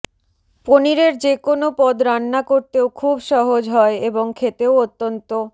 পনিরের যেকোনও পদ রান্না করতেও খুব সহজ হয় এবং খেতেও অত্যন্ত